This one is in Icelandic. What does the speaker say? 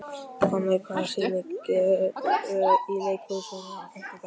Finney, hvaða sýningar eru í leikhúsinu á fimmtudaginn?